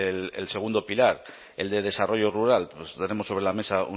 el segundo pilar el de desarrollo rural tenemos sobre la mesa